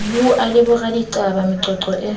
buwa le boraditaba meqoqo e